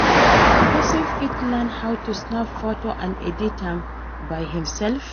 Persin fit learn how to snap photo and edit am by himself